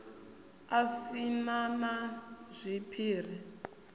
a si na na zwiphiri